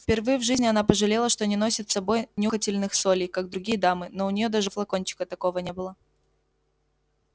впервые в жизни она пожалела что не носит с собой нюхательных солей как другие дамы но у неё даже флакончика такого не было